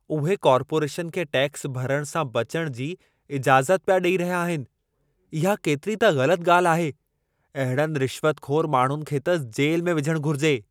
उहे कार्पोरेशन खे टैक्स भरणु सां बचणु जी इजाज़त पिया ॾेई रहिया आहिनि। इहा केतिरी त ग़लति ॻाल्हि आहे। अहिड़नि रिश्वतख़ोर माण्हुनि खे त जेल में विझण घुरिजे।